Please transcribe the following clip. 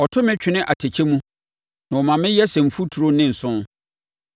Ɔto me twene atɛkyɛ mu na ɔma me yɛ sɛ mfuturo ne nsõ.